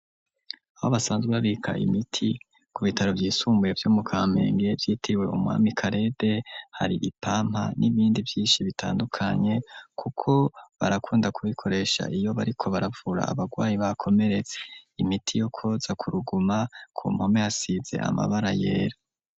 Aho basanzwe babika imiti ku bitaro vyisumbuye byo mu Kamenge vyitiriwe umwami kalede hari ipampa n'ibindi vyinshi bitandukanye kuko barakunda kubikoresha iyo bariko baravura abarwayi bakomeretse imiti yo koza kuruguma ku mpome asize amabara yera.